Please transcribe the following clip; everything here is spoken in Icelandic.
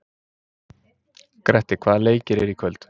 Grettir, hvaða leikir eru í kvöld?